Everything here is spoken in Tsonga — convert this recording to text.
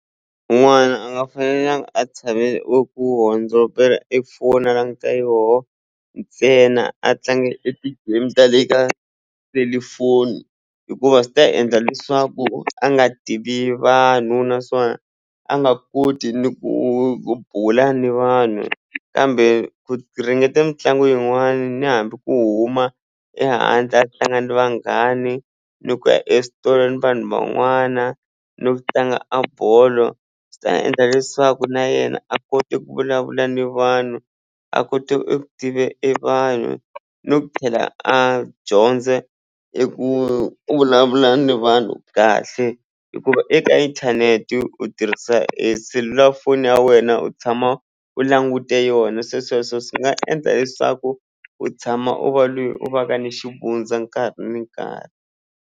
N'wana a nga fanelangi a tshame eku hundzombela e phone a languta yoho ntsena a tlanga e ti-game ta le ka selufoni hikuva swi ta endla leswaku a nga tivi vanhu naswona a nga koti ni ku bula ni vanhu kambe ku ringeta mitlangu yin'wani ni hambi ku huma ehandle a tlanga ni vanghani ni ku ya vanhu van'wana no tlanga a bolo swi ta endla leswaku na yena a kote ku vulavula ni vanhu a kote eku tive e vanhu no tlhela a dyondze i ku ku vulavula na vanhu kahle hikuva eka inthanete u tirhisa eselulafonini ya wena u tshama u langute yona se sweswo swi nga endla leswaku u tshama u va loyi u va ka ni xivundza nkarhi ni nkarhi.